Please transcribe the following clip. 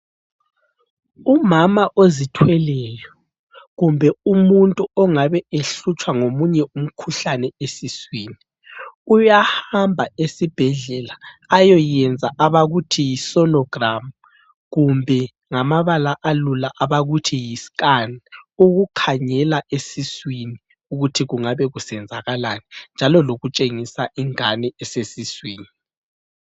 Umama ozithweleyo kumbe umuntu ongabe ehlutshwa ngomunye umkhuhlane esiswini, uyahamba esibhedlela ayoyenza abakuthi yi- Solo gram kumbe ngamabala alula abakuthi yi-Scan, ukukhangela esiswini ukuthi kungaba kusenzakalani. Njalo lokutshengisa ingane esesiswini.